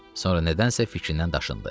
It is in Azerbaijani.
Sonra nədənsə fikrindən daşındı.